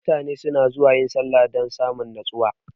mutane suna zuwa yin sallah dan samun nustuwa.